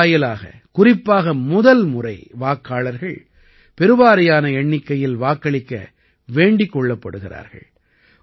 இதன் வாயிலாக குறிப்பாக முதல்முறை வாக்காளர்கள் பெருவாரியான எண்ணிக்கையில் வாக்களிக்க வேண்டிக் கொள்ளப்படுகிறார்கள்